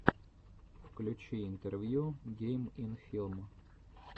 включи интервью гейм ин филм